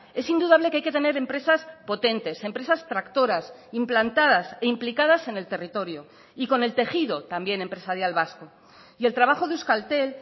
es indudable que hay que tener empresas potentes empresas tractoras implantadas e implicadas en el territorio y con el tejido también empresarial vasco y el trabajo de euskaltel